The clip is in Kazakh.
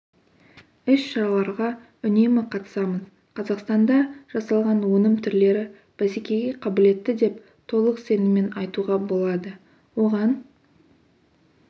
іс-шараларға үнемі қатысамыз қазақстанда жасалған өнім түрлері бәсекеге қабілетті деп толық сеніммен айтуға болады оған